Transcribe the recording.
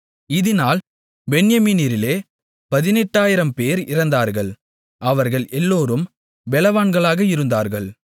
இதினால் பென்யமீனரிலே 18000 பேர் இறந்தார்கள் அவர்கள் எல்லோரும் பெலவான்களாக இருந்தார்கள்